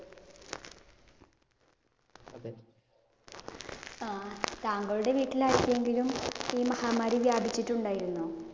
ആഹ് താങ്കളുടെ വീട്ടിൽ ആർക്കെങ്കിലും ഈ മഹാമാരി വ്യാപിച്ചിട്ടുണ്ടായിരുന്നോ?